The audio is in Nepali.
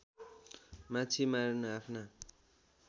माछी मारन आफ्ना